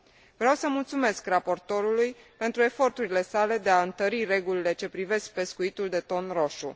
Vreau să mulțumesc raportorului pentru eforturile sale de a întări regulile ce privesc pescuitul de ton roșu.